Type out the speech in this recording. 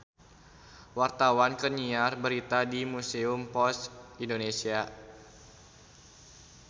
Wartawan keur nyiar berita di Museum Pos Indonesia